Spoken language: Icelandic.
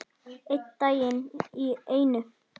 Einn dag í einu.